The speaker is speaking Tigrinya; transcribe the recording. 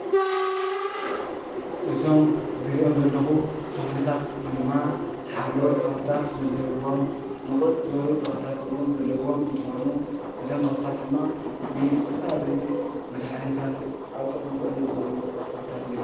እዞም ዝሪኦም ዘለኹ ተኽልታት ድማ ሓምለዎት ተኽልታት ዘለዉዎም፣ ንቕፅ ዝበሉ ተኽልታት እውን ዘለዉዎም እንትኾኑ እዞም ተኽልታት ድማ ንዝተፈላለዩ መድሓኒታትን ኣብ ጥቕሚ ክውዕሉ ዝኽእሉ ተኽልታት እዮም፡፡